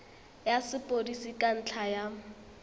ya sepodisi ka ntlha ya